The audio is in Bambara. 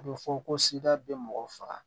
A bɛ fɔ ko bɛ mɔgɔ faga